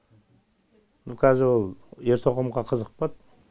но қазір ол ер тоқымға қызықпады